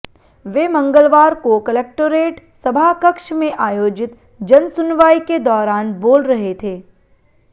वे मंगलवार को कलेक्टोरेट सभाकक्ष में आयोजित जनसुनवाई के दौरान बोल रहे थे